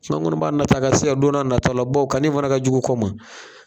n kɔni b'a nat'a ka se ya donna nata la bawo kanni fana ka jugu kɔ ma.